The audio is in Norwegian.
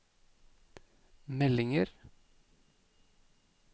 meldinger